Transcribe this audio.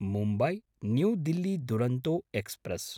Mumbai New Delhi Duronto express